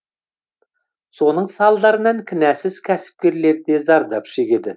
соның салдарынан кінәсіз кәсіпкерлер де зардап шегеді